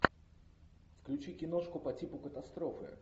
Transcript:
включи киношку по типу катастрофы